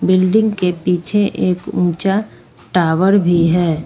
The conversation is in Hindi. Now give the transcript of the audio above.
बिल्डिंग के पीछे एक ऊंचा टावर भी है।